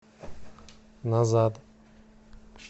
назад